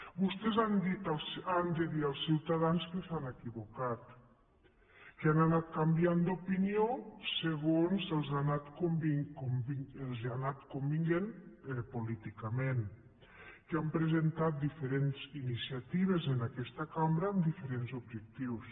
vostès han de dir als ciutadans que s’han equivocat que han anat canviant d’opinió segons els ha anat convenint políticament que han presentat diferents iniciatives en aquesta cambra amb diferents objectius